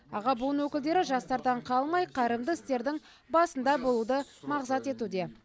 аға буын өкілдері жастардан қалмай қайырымды істердің басында болуды мақсат етуде